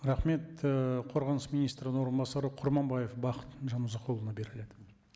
рахмет ы қорғаныс министрінің орынбасары құрманбаев бақыт жанұзақұлына беріледі